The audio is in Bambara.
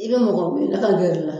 I bɛ mɔgɔ wele ka gɛrɛ i la